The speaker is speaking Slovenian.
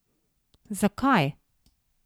Zakaj?